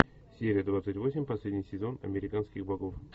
серия двадцать восемь последний сезон американских богов